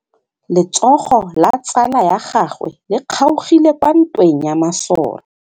Letsôgô la tsala ya gagwe le kgaogile kwa ntweng ya masole.